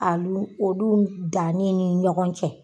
Alu olu dannen ni ɲɔgɔn cɛ.